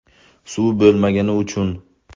Suv bo‘lmagani uchun.